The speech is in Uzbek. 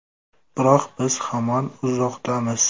Biroq biz hamon uzoqdamiz.